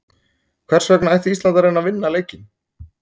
Hvers vegna ætti Ísland að reyna að vinna leikinn?